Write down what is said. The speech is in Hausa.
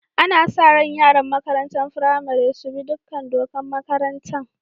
Ana sa rai yaran makarantan firamari su bi dukan dokan makarantan.